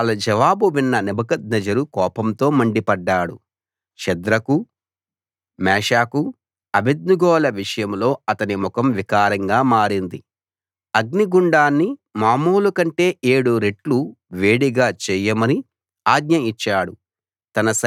వాళ్ళ జవాబు విన్న నెబుకద్నెజరు కోపంతో మండిపడ్డాడు షద్రకు మేషాకు అబేద్నెగోల విషయంలో అతని ముఖం వికారంగా మారింది అగ్ని గుండాన్ని మామూలు కంటే ఏడు రెట్లు వేడిగా చేయమని ఆజ్ఞ ఇచ్చాడు